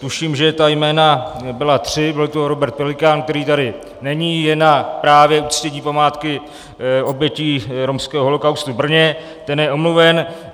Tuším, že ta jména byla tři, byl to Robert Pelikán, který tady není, je právě na uctění památky obětí romského holocaustu v Brně, ten je omluven.